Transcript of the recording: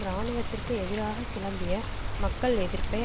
இராணுவத்திற்கு எதிராக கிளம்பிய மக்கள் எதிர்ப்பை